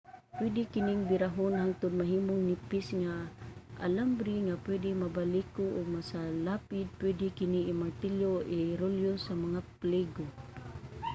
pwede kining birahon hangtud mahimong nipis nga alambre nga pwede mabaliko ug masalapid. pwede kini i-martilyo o irolyo sa mga pligo